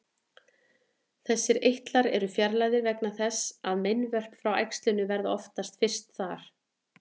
Þessir eitlar eru fjarlægðir vegna þess að meinvörp frá æxlinu verða oftast fyrst þar.